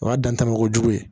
O y'a danbo jugu ye